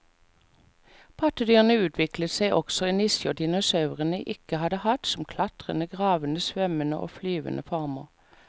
Pattedyrene utviklet seg også i nisjer dinosaurene ikke hadde hatt, som klatrende, gravende, svømmende og flyvende former.